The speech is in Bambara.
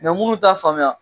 Mɛ minnu t'a faamuya